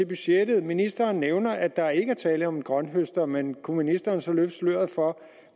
budgettet ministeren nævner at der ikke er tale om en grønthøster men kunne ministeren så løfte sløret for